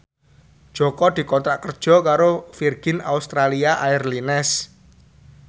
Jaka dikontrak kerja karo Virgin Australia Airlines